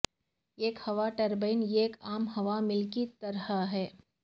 ایک ہوا ٹربائن ایک عام ہوا مل کی طرح ہے